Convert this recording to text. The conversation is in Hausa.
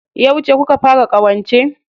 Yauce kuka fara ƙawance?